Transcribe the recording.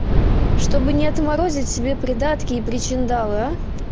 чтобы не отморозить себе придатки и причиндалы а